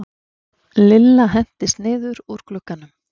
Lilla hentist niður úr glugganum.